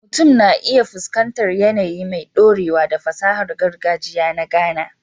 Mutum na iya fuskantar yanayi mai ɗorewa da fasahar gargajiya na Ghana